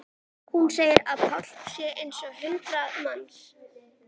Hún segir að Páll sé eins og hundrað manns.